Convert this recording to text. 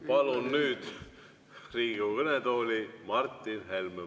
Palun nüüd Riigikogu kõnetooli Martin Helme.